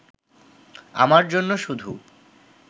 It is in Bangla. আমার জন্য শুধু